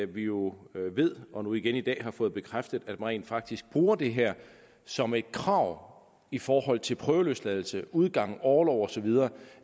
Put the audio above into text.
vi jo ved og nu igen i dag har fået bekræftet at man rent faktisk bruger det her som et krav i forhold til prøveløsladelse udgang og orlov og så videre